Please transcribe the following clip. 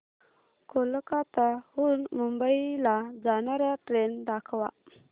कोलकाता हून मुंबई ला जाणार्या ट्रेन दाखवा